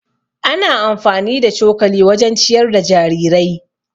Ana amfani da cokali wajen ciyar da jarirai.